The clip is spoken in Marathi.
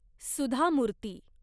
सुधा मूर्ती